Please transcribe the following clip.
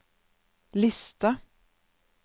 liste